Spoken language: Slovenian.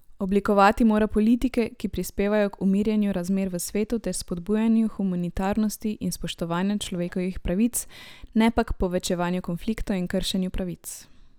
Oblikovati mora politike, ki prispevajo k umirjanju razmer v svetu ter spodbujanju humanitarnosti in spoštovanja človekovih pravic, ne pa k povečanju konfliktov in kršenju pravic.